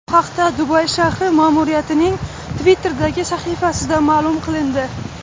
Bu haqda Dubay shahri ma’muriyatining Twitter’dagi sahifasida ma’lum qilindi .